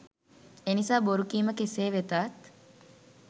එනිසා බොරු කීම කෙසේ වෙතත්